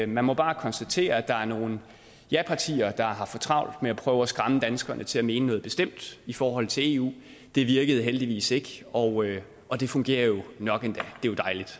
man må bare konstatere at der er nogle japartier der har for travlt med at prøve at skræmme danskerne til at mene noget bestemt i forhold til eu det virkede heldigvis ikke og og det fungerer jo nok endda